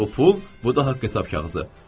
Bu pul, bu da haqq-hesab kağızı.